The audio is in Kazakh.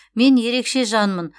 мен ерекше жанмын